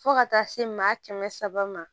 Fo ka taa se maa kɛmɛ saba ma